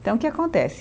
Então o que acontece?